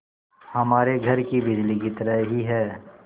हमारे घर की बिजली की तरह ही है